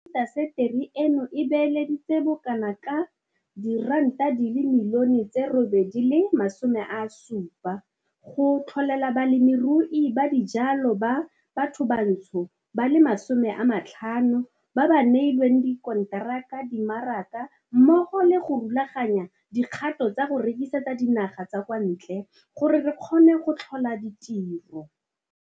Intaseteri eno e beeleditse bokanaka R870 milione go tlholela balemirui ba dijalo ba bathobantsho ba le 50 ba ba neilweng dikonteraka dimaraka mmogo le go rulaganya dikgato tsa go rekisetsa dinaga tsa kwantle gore re kgone go tlhola ditiro.